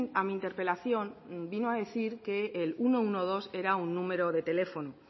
a mi interpelación vino a decir que el ciento doce era un número de teléfono